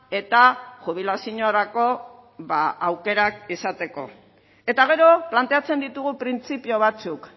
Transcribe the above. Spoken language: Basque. eta jubilaziorako aukerak izateko eta gero planteatzen ditugu printzipio batzuk